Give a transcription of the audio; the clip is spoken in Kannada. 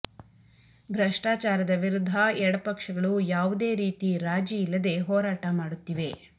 ಭ್ರಷ್ಟಾಚಾರದ ವಿರುದ್ಧ ಎಡಪಕ್ಷಗಳು ಯಾವುದೇ ರೀತಿ ರಾಜಿ ಇಲ್ಲದೆ ಹೋರಾಟ ಮಾಡುತ್ತಿವೆ